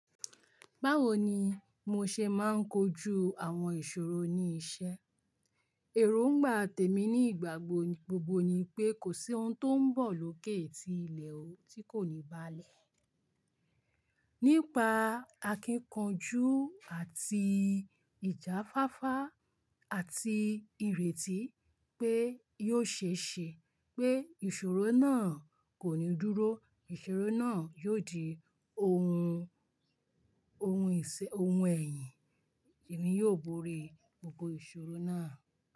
Báwo ni mo ṣe máa ń kojú àwọn ìṣòro ní iṣẹ́? Èróngba tèmi nígbàgbogbo ni pé kò sí ohun tó ń bọ̀ lókè tí ilẹ̀ ò tí kò ní báà lè. Nípa akíkanjú àti ìjáfáfá àti ìrètí pé yóò ṣe é ṣe pé ìṣòro náà kò ní dúró, ìṣòro náà yóò di ohun, ohun ẹ̀yìn èmi yóò borí gbogbo ìṣòro náà.